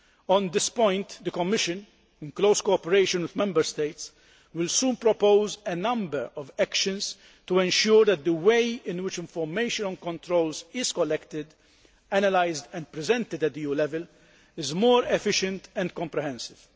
On this point, the Commission, in close cooperation with Member States, will soon propose a number of actions to ensure that the way in which information on controls is collected, analysed and presented at EU level, is more efficient and comprehensive.